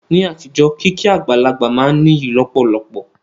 Ní àtijọ́, kíkí àgbàlagbà máa n níyì lọ̀pọ̀lọpọ̀